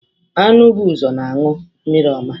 Anụ bụ ụzọ na anụ mmiri ọma.